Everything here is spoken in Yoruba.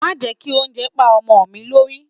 Má jẹ́ kí oúnjẹ pá ọmọ mi lórí.